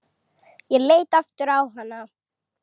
Ég leit aftur á hana.